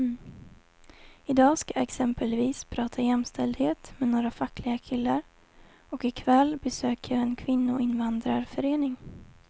I dag ska jag exempelvis prata jämställdhet med några fackliga killar och i kväll besöker jag en kvinnoinvandrarförening.